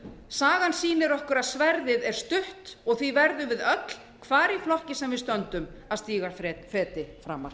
sagan sýnir okkur að sverðið er stutt og því verðum við öll hvar í flokki sem við stöndum að stíga feti framar